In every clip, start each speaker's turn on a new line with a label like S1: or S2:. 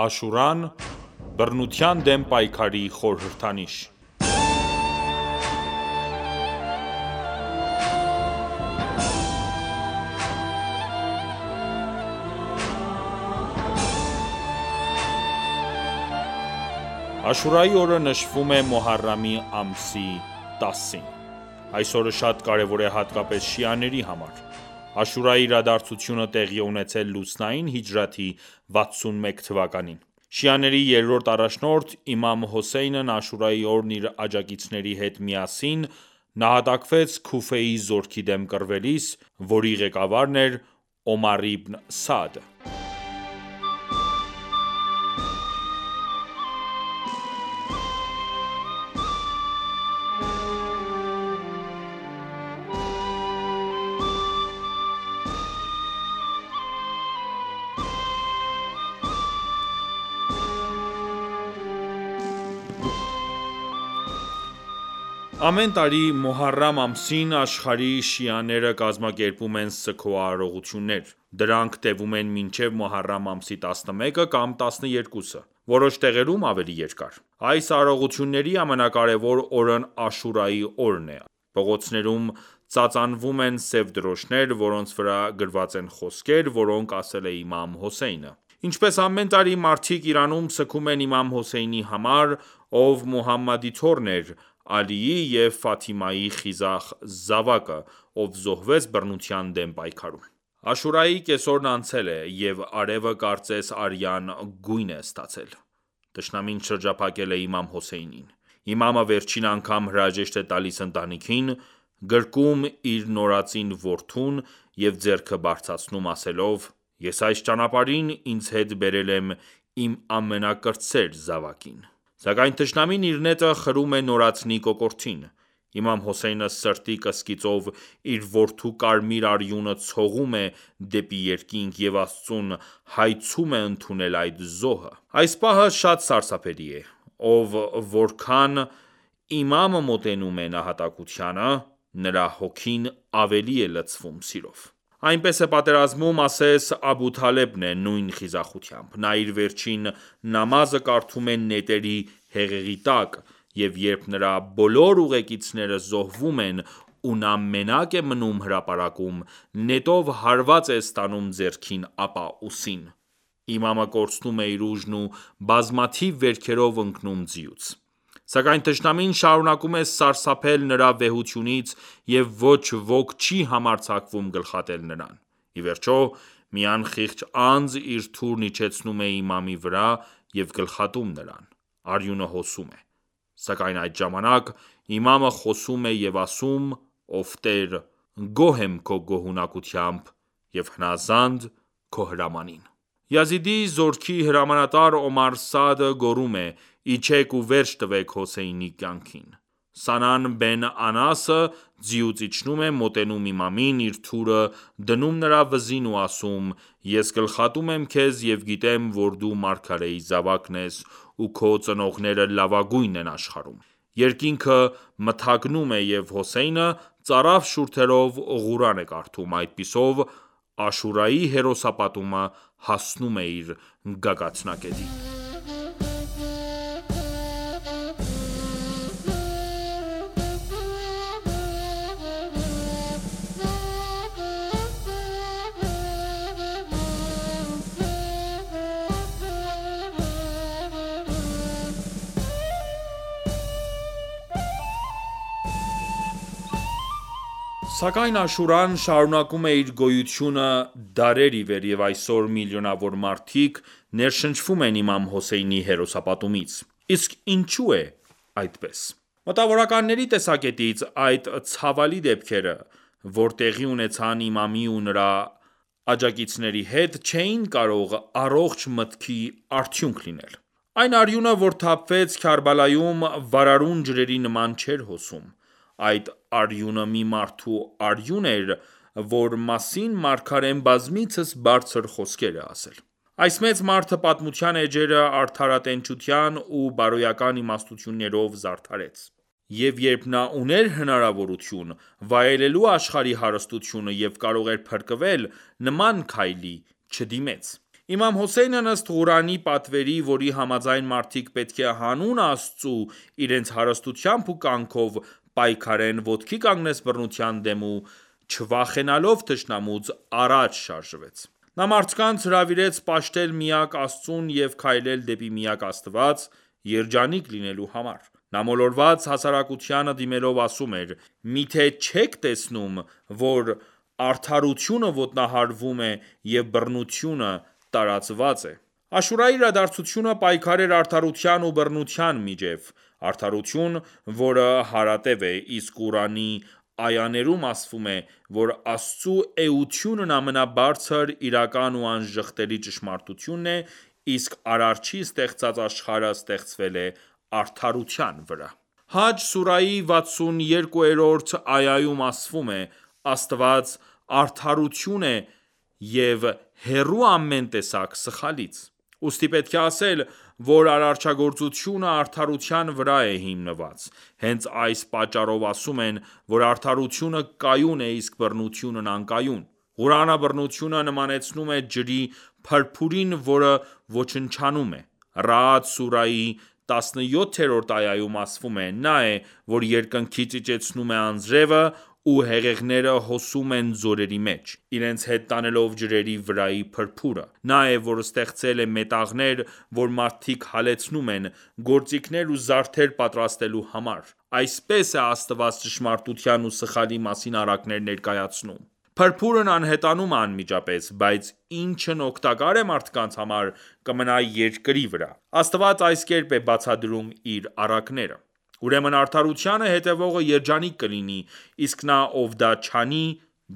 S1: Աշուրան՝ բռնության դեմ պայքարի խորհրդանիշ Օգոստոս 07, 2022 14:49 Asia/Tehran Աշուրայի օրը նշվում է մոհառռամ ամսի տասին: Այս օրը շատ կարևոր է հատկապես շիաների համար: Աշուրայի իրադարձությունը տեղի է ունեցել լուսնային հիջրեթի 61 թ.: Շիաների երրորդ առաջնորդ՝ իմամ Հոսեյնն Աշուրայի օրն իր աջակիցների հետ միասին նահատակվեց Քուֆեի զորքի դեմ կռվելիս, որի ղեկավարն էր Օմար Իբն Սաադը: Ամեն տարի, մոհառռամ ամսին աշխարհի շիաները կազմակերպում են սգո արարաղություններ: Դրանք տևում են մինչև մոհառռամ ամսի 11-ը կամ 12-ը, որոշ տեղերում՝ ավելի երկար: Այս արարողությունների ամենակարևոր օրն Աշուրայի օրն է: Փողոցներում ծածանվում են սև դրոշներ, որոնց վրա գրված են խոսքեր՝ որոնք ասել է իմամ Հոսեյնը: Ինչպես ամեն տարի, մարդիկ Իրանում սգում են իմամ Հոսեյնի համար, ով Մոհամմադի թոռն էր, Ալիի և Ֆաթիմայի խիզախ զավակը, ով զոհվեց բռնության դեմ պայքարում: Աշուրայի կեսօրն անցել է և արևը կարծես արյան գույն է ստացել: Թշնամին շրջափակել է իմամ Հոսեյնին: Իմամը վերջին անգամ հրաժեշտ է տալիս ընտանիքին, գրկում իր նորածին որդուն և ձեռքը բարձրացնում, ասելով. «Ես այս ճանապարհին ինձ հետ բերել եմ իմ ամենակրտսեր զավակին»: Սակայն թշնամին իր նետը խրում է նորածնի կոկորդին: Իմամ Հոսեյնը սրտի կսկիծով իր որդու կարմիր արյունը ցողում է դեպի երկինք և Աստծուն հայցում է ընդունել այդ զոհը: Այս պահը շատ սարսափելի է: Եվ որքան իմամը մոտենում է նահատակությանը, նրա հոգին ավելի է լցվում սիրով: Այնպես է պատերազմում, ասես Աբու Թալեբն է, նույն խիզախությամբ: Նա իր վերջին նամազը կարդում է նետերի հեղեղի տակ: Եվ երբ նրա բոլոր ուղեկիցները զոհվում են ու նա մենակ է մնում հրապարակում, նետով հարված է ստանում ձեռքին, ապա՝ ուսին: Իմամը կորցնում է իր ուժն ու բազմաթիվ վերքերով ընկնում ձիուց: Սակայն թշնամին շարունակում է սարսափել նրա վեհությունից և ոչ ոք չի համարձակվում գլխատել նրան: Ի վերջո, մի անխիղճ անձ, իր թուրն իջեցնում է իմամի վրա և գլխատում նրան: Արյունը հոսում է, սակայն այդ ժամանակ իմամը խոսում է և ասում. «Ով Տեր, գոհ եմ քո գոհունակությամբ և հնազանդ՝ քո հրամանին»: Յազիդի զորքի հրամանատար Օմար Սաադը գոռում է. «Իջեք ու վերջ տվեք Հոսեյնի կյանքին»: Սանան Բեն Անասը ձիուց իջնում է, մոտենում իմամին, իր թուրը դնում նրա վզին ու ասում. «Ես գլխատում եմ քեզ, և գիտեմ, որ դու մարգարեի զավակն ես ու քո ծնողները լավագույնն են աշխարհում»: Երկինքը մթագնում է և Հոսեյնը, ծարավ շուրթերով Ղուրան է կարդում: Այդպիսով, Աշուրայի հերոսապատումը հասնում է իր գագաթնակետին: Սակայն Աշուրան շարունակում է իր գոյությունը դարեր ի վեր և այսօր, միլիոնավոր մարդիկ, ներշնչվում են իմամ Հոսեյնի հերոսապատումից: Իսկ ինչո՞ւ է այդպես: Մտավորականների տեսակետից, այդ ցավալի դեպքերը, որ տեղի ունեցան իմամի ու նրա աջակիւցների հետ, չէին կարող առողջ մտքի արդյունք լինել: Այն արյունը որ թափվեց Քարբալայում, վարարուն ջրերի նման չէր հոսում: Այդ արյունը մի մարդու արյուն էր, որի մասին մարգարեն բազմիցս բարձր խոսքեր էր ասել: Այս մեծ մարդը պատմության էջերը արդարատենչության ու բարոյական իմաստություններով զարդարեց: Եվ երբ նա ուներ հնարավորություն՝ վայելելու աշխարհի հարստությունը և կարող էր փրկվել, նման քայլի չդիմեց: Իմամ Հոսեյնն ըստ Ղուրանի պատվերի, Որի համաձայն մարդիկ պետք է հանուն Աստծու իրենց հարստությամբ ու կյանքով պայքարեն, ոտքի կանգնեց բռնության դեմ ու չվախենալով թշնամուց, առաջ շարժվեց: Նա մարդկանց հրավիրեց պաշտել միակ Աստծուն և քայլել դեպի միակ Աստված՝ երջանիկ լինելու համար: Նա մոլորված հասարակությանը դիմելով, ասում էր. «Միթե չե՞ք տեսնում, որ արդարությունը ոտնահարվում է և բռնությունը տարածված է»: Աշուրայի իրադարձությունը պայքար էր արադարության ու բռնության միջև: Արդարություն, որը հարատև է: Իսկ Ղուրանի այաներում ասվում է, որ Աստծու էությունն ամենաբարձր իրական ու անժխտելի ճշմարտությունն է, իսկ Արարչի ստեղծած աշխարհը ստեղծվել է արդարության վրա: Հաջ սուրահի 62-րդ այայում ասվում է. «Աստված արդարություն է և հեռու ամեն տեսակ սխալից»: Ուստի պետք է ասել, որ արարչագործությունը արդարության վրա է հիմնված: Հենց այս պատճառով ասում են, որ արդարությունը կայուն է, իսկ բռնությունն անկայուն: Ղուրանը բռնությունը նմանեցնում է ջրի փրփուրին, որը ոչնչանում է: Ռաադ սուրահի 17-րդ այայում ասվում է. «Նա է, որ երկնքից իջեցնում է անձրևը, ու հեղեղները հոսում են ձորերի մեջ՝ իրենց հետ տանելով ջրերի վրայի փրփուրը: Նա է, որ ստեղծել է մետաղներ, որ մարդիկ հալեցնում են` գործիքներ ու զարդեր պատրաստելու համար: Այսպես է Աստված ճշմարտության ու սխալի մասին առակներ ներկայացնում։ Փրփուրն անհետանում է անմիջապես, բայց ինչն օգտակար է մարդկանց համար, կմնա երկրի վրա: Աստված այս կերպ է բացատրում իր առակները»: Ուրեմն արդարությանը հետևողը երջանիկ կլինի, իսկ նա, ով դա չանի,՝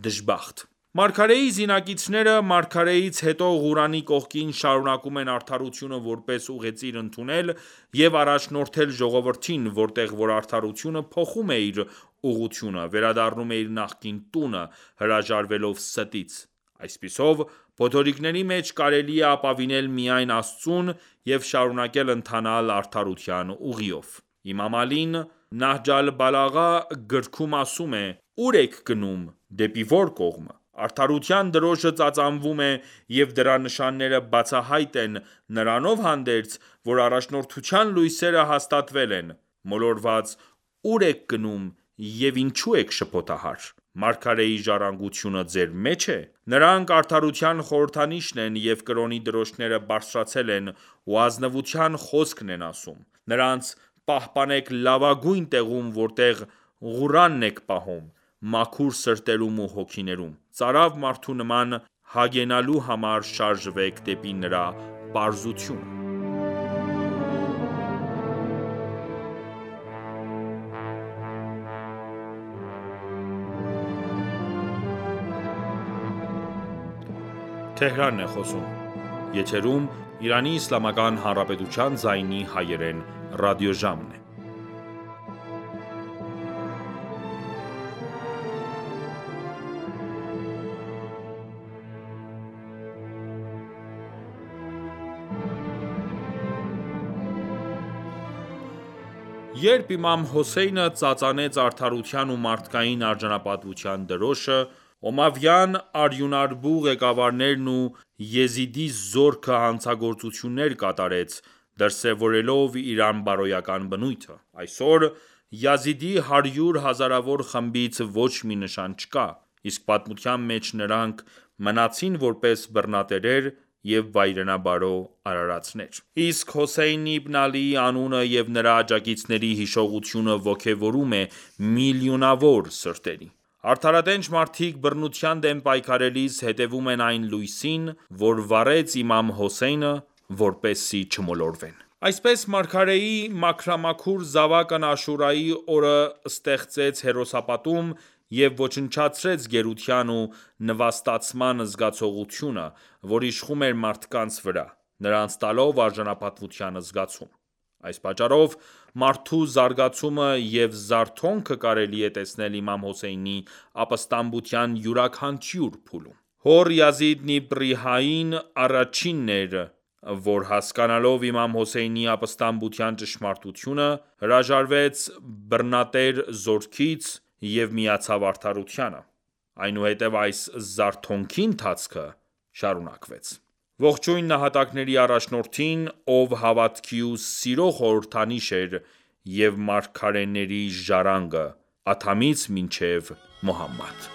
S1: դժբախտ: Մարգարեի զինակիցները, մարգարեից հետո, Ղուրանի կողքին, շարունակում են արդարությունը որպես ուղեծիր ընդունել և առաջնորդել ժողովրդին: Որտեղ որ արդարությունը փոխում է իր ուղղությունը, վերադառնում է իր նախկին տունը, հրաժարվելով ստից: Այսպիսով, փոթորիկների մեջ կարելի է ապավինել միայն Աստծուն և շարունակել ընթանալ արդարության ուղիով: Իմամ Ալին Նահջ ալ-Բալաղա գրքում ասում է. «Ո՞ւր եք գնում: Դեպի որ կողմ: Արդարության դրոշը ծածանվում է և դրա նշանները բացահայտ են: Նրանով հանդերձ, որ առաջնորդության լույսերը հաստատվել են, մոլորված ո՞ւր եք գնում և ինչո՞ւ եք շփոթահար: Մարգարեի ժառանգությունը ձեր մե՞ջ է: Նրանք արդարության խորհրդանիշն են և կրոնի դրոշները բարձրացրել են ու ազնվության խոսնքն են ասում: Նրանց պահպանեք լավագույն տեղում, որտեղ Ղուրանն եք պահում /մաքուր սրտերում ու հոգիներում/: Ծարավ մարդու նման, հագենալու համար շարժվեք դեպի նրա պարզությունը»: Երբ իմամ Հոսեյնը ծածանեց արդարության ու մարդկային արժանապատվության դրոշը, Օմավյան արյունարբու ղեկավարներն ու Եզիդի զորքը հանցագործություններ կատարեց, դրսևորելով իր անբարոյական բնույթը: Այսօր Յազիդի հարյուր հազարավոր խմբից ոչ մի նշան չկա: Իսկ պատմության մեջ նրանք մնացին որպես բռնատերեր և վայրենաբարո արարածներ: Իսկ Հոսեյն Իբն Ալիի անունը և նրա աջակիցների հիշողությունը ոգևորում է միլիոնավոր սրտերի: Արդարատենչ մարդիկ, բռնության դեմ պայքարելիս, հետևում են այն լույսին, որ վառեց իմամ Հոսեյնը, որպեսզի չմոլորվեն: Այսպես, մարգարեի մաքրամաքուր զավակն Աշուրայի օրը ստեղծեց հերոսապատում և ոչնչացրեց գերության ու նվաստացման զգացողությունը, որ իշխում էր մարդկանց վրա, նրանց տալով արժանապատվության զգացում: Այս պատճառով, մարդու զարգացումը և զարթոնքը կարելի է տեսնել իմամ Հոսեյնի ապաստամբության յուրաքանչյուր փուլում: Հոռ Յազիդ Իբն Ռիահին առաջինն էր, որ հասկանալով իմամ Հոսեյնի ապստամբության ճշմարտությունը, հրաժարվեց բռնատեր զորքից և միացավ արդարությանը: Այնուհետև այս զարթոնքի ընթացքը շարունակվեց: Ողջույն նահատակների առաջնորդին, ով հավատքի ու սիրո խորհրդանիշ էր և մարգարեների ժառանգը, Ադամից մինչև Մոհամմադ: